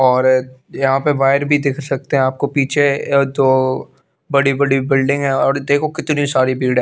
और यहा पे वायर भी देख सकते है आपको पीछे अ दो बड़ी बड़ी बिल्डिंग है और देखो कितनी सारी भीड़ है।